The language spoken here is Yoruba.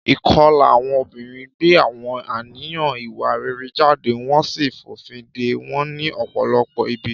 Ìkọlà àwọn obìnrin gbé àwọn àníyàn ìwà rere jáde wọ́n sì fòfin de wọn ní ọ̀pọ̀lọpọ̀ ibi.